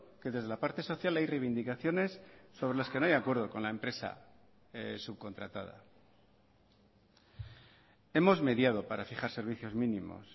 que desde la parte social hay reivindicaciones sobre las que no hay acuerdo con la empresa subcontratada hemos mediado para fijar servicios mínimos